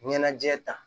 Ɲɛnajɛ ta